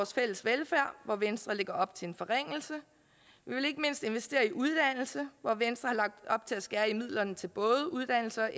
fælles velfærd hvor venstre lægger op til en forringelse vi vil ikke mindst investere i uddannelse hvor venstre har lagt op til at skære ned midlerne til både uddannelse og